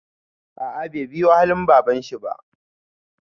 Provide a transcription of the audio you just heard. A'a bai biyu halin babanshi ba.